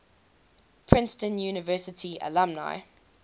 princeton university alumni